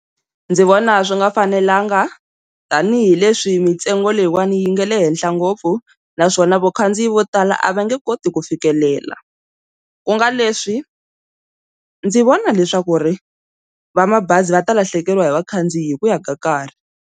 Ndzi vona swi nga fanelanga tanihileswi mintsengo leyiwani yi nga le henhla ngopfu, naswona vakhandziyi vo tala a va nge koti ku fikelela ku nga leswi ndzi vona leswaku ri va mabazi va ta lahlekeriwa hi vakhandziyi hi ku ya ka nkarhi.